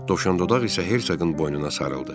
Dovşandodaq isə Hersoqun boynuna sarıldı.